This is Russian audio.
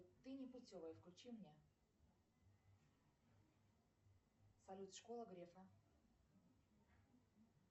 ты непутевая включи мне салют школа грефа